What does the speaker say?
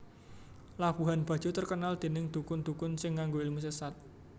Labuhan Bajo terkenal dening dukun dukun sing nganggo ilmu sesat